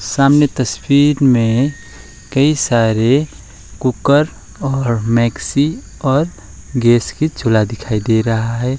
सामने तस्वीर में कई सारे कुकर और मैक्सी और गैस के चूल्हा दिखाई दे रहा है।